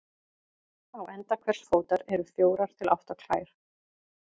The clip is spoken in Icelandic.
Á enda hvers fótar eru fjórar til átta klær.